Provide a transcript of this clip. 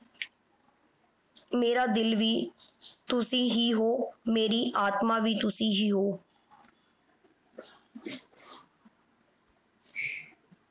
ਮੇਰਾ ਦਿਲ ਵੀ ਤੁਸੀਂ ਹੀ ਹੋ। ਮੇਰੀ ਆਤਮਾ ਵੀ ਤੁਸੀਂ ਹੀ ਹੋ।